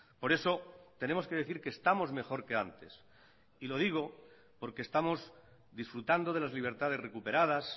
por eso tenemos que decir que estamos mejor que antes y lo digo porque estamos disfrutando de las libertades recuperadas